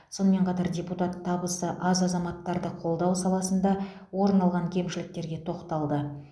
сонымен қатар депутат табысы аз азаматтарды қолдау саласында орын алған кемшіліктерге тоқталды